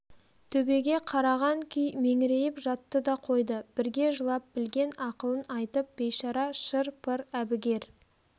төбеге қараған күй меңірейіп жатты да қойды бірге жылап білген ақылын айтып бейшара шыр-пыр әбігер